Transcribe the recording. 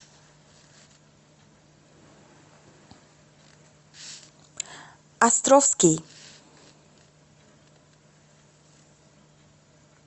островский